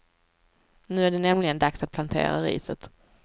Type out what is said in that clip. Nu är det nämligen dags att plantera riset.